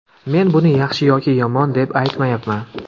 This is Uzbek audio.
Men buni yaxshi yoki yomon deb aytmayapman.